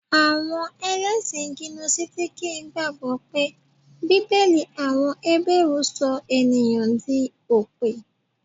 Àwọn Ẹlẹ́sìn gínósítìkì gbàgbọ́ pé Bíbélì àwọn Hébérù sọ ènìyàn di òpè